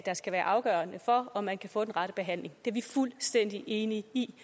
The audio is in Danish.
skal være afgørende for om man kan få den rette behandling det er vi fuldstændig enige i